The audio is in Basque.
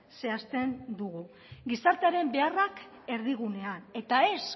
zehazten dugu gizartearen beharrak erdigunea eta ez